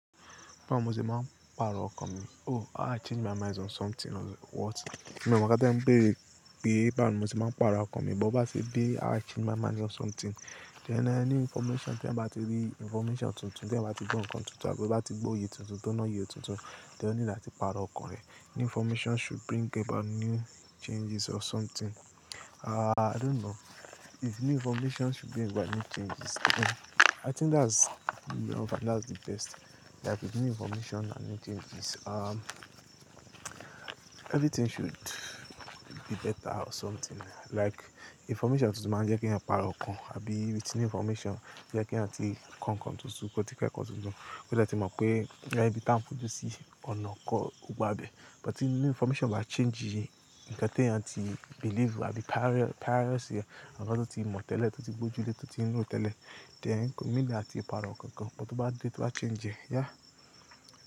Báwo mo ṣe máa ń pàrọ̀ ọkàn mi? Oh, i change my mind on something or what? Mi ò mọ̀ ká tí ẹ ń béèrè pé báwo mo ti máa ń pàrọ̀ ọkàn mi, but bá ṣe dé i change my mind on something, then a new information, tí ẹ bá ti rí information tuntun, tí ẹ bá ti gbọ́ nǹkan tuntun, àbí bá ti gbọ́ oyè tuntun tó ná yí oyè tuntun, then ó ní láti pàrọ̀ ọkàn ẹ. New information should bring about new changes or something. Ah, i don't know. If new information should bring about new changes. I think that's-- no, that's the best. Like with new information and new changes. Um, everything should be better or something. Like information tuntun máa ń jẹ́ kí ẹ pàrọ̀ ọkàn, àbí with new information jẹ́ kí ẹ ti kọ́ nǹkan tuntun, kó ti kẹ́kọ̀ọ́ tuntun, kí ẹ lè tí mọ̀ pé ẹ̀yin bí tán fúnju sí ọ̀nà kọ́, ó gbá bẹ̀. But if new information máa change ìyẹn, nǹkan tí ẹ ti believe, àbí prior, priors, nǹkan tí o ti mọ̀ tẹ́lẹ̀, tí o ti gbójú lé, tí o ti mọ̀ tẹ́lẹ̀, then kì í ní láti pàrọ̀ nǹkankan. But tó bá dé, tó bá change, yeah.